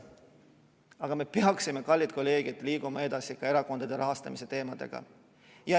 Aga me peaksime, kallid kolleegid, liikuma edasi ka erakondade rahastamise teemadega.